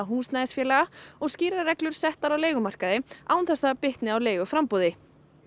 húsnæðisfélaga og skýrari reglur settar á leigumarkaði án þess að það bitni á leiguframboði